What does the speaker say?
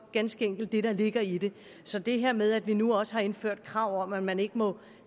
ganske enkelt det der ligger i det så det her med at vi nu også har indført krav om at man ikke må